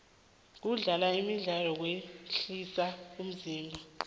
kudlala imidlalo kwehlisa umzimba